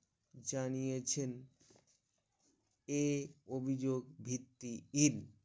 জানিয়েছেন এই অভিযোগ ভিত্তির